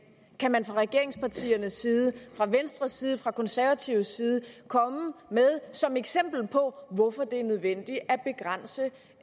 kan man fra regeringspartiernes side fra venstres side fra konservatives side komme med som eksempel på hvorfor det er nødvendigt at begrænse